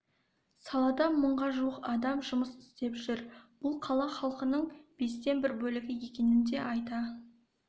салада мыңға жуық адам жұмыс істеп жүр бұл қала халқының бестен бір бөлігі екенін де айта